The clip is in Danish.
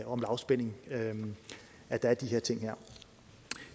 om lavspænding at der er de her ting